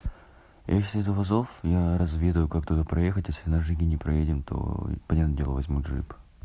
если из вузов я разведаю как туда проехать если джиге не проедем то понятное дело возьмут джип